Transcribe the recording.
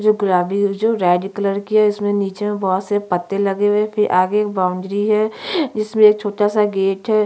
जो गुलाबी और जो रेड कलर की है जिसमे निचे मैं बहुत से पत्ते लगे हुए है फिर आगे एक बाउंड्री है जिसमे एक छोटा-सा गेट है।